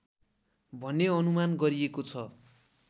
भन्ने अनुमान गरिएको छ